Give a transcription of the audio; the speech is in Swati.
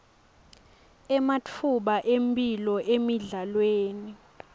ematfuba emphilo emidlalweni